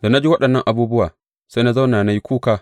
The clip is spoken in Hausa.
Da na ji waɗannan abubuwa, sai na zauna na yi kuka.